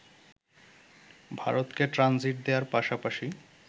ভারতকে ট্রানজিট দেয়ার পাশাপাশি